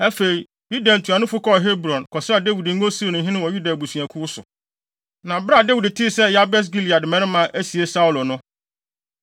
Afei, Yuda ntuanofo kɔɔ Hebron, kɔsraa Dawid ngo sii no hene wɔ Yuda abusuakuw so. Na bere a Dawid tee sɛ Yabes Gilead mmarima asie Saulo no,